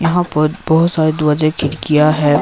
यहां पर बहुत सारे द्वाजे खिड़किया हैं।